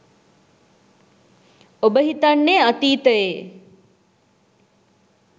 ඔබ හිතන්නේ අතීතයේ